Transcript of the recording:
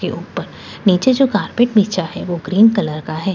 के ऊपर नीचे जो कार्पेट बिछा हुआ है वो ग्रीन कलर का है यहाँ पे --